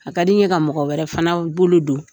A ka di n ye ka mɔgɔ wɛrɛ fana bolo don.